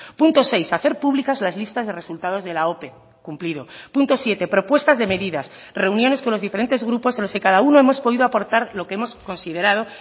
punto seis hacer públicas las listas de resultados de la ope cumplido punto siete propuestas de medidas reuniones con los diferentes grupos en los que cada uno hemos podido aportar lo que hemos considerado